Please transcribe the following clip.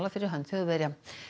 fyrir hönd Þjóðverja